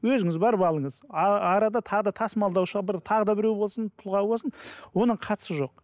өзіңіз барып алыңыз арада тағы да тасымалдаушыға бір тағы да біреу болсын тұлға болсын оның қатысы жоқ